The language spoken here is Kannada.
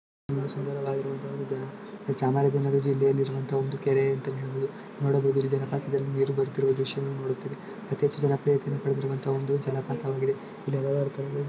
ಇದು ಸುಂದರವಾಗಿರುವಂತ ಒಂದು ಜಾಗ ಚಾಮರಾಜನಗರ ಜಿಲ್ಲೆಯಲ್ಲಿರುವಂತ ಒಂದು ಜಿಲ್ಲೆಯಲ್ಲಿರುವಂತ ಒಂದ್ ಕೆರೆ ಅಂತಾನೆ ಹೇಳ್ಬೋದು ನೋಡೋಕೆ ಜಲಪಾತದಲ್ಲಿ ನೀರು ಬೀಳುತ್ತಿರುವ ದೃಶ್ಯವನ್ನು ನೋಡುತ್ತಿರುವೆ ಅತಿ ಹೆಚ್ಚು ಜನಪ್ರಿಯತೆಯನ್ನು ಹೊಂದಿರುವ ಜಲಪಾತವಾಗಿದೆ